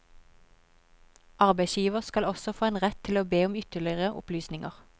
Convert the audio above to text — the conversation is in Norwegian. Arbeidsgiver skal også få en rett til å be om ytterligere opplysninger.